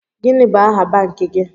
Gini bụ aha banki gi?